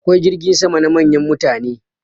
Akwai jirgin sama na manyan mutane.